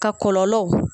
Ka kɔlɔlɔ